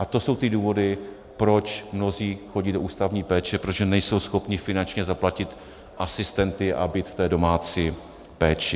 A to jsou ty důvody, proč mnozí chodí do ústavní péče, protože nejsou schopni finančně zaplatit asistenty a být v té domácí péči.